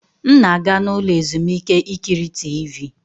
M na-aga n'ụlọ ezumike ikiri Tiivi.